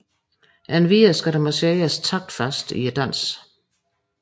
Endvidere skal der marcheres taktfast i dansen